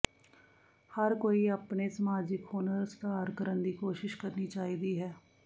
ਹਰ ਕੋਈ ਆਪਣੇ ਸਮਾਜਿਕ ਹੁਨਰ ਸੁਧਾਰ ਕਰਨ ਦੀ ਕੋਸ਼ਿਸ਼ ਕਰਨੀ ਚਾਹੀਦੀ ਹੈ